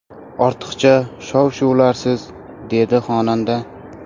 Ortiqcha shov-shuvlarsiz”, dedi xonanda.